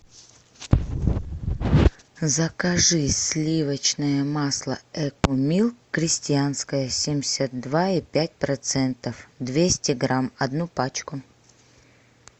закажи сливочное масло экомилк крестьянское семьдесят два и пять процентов двести грамм одну пачку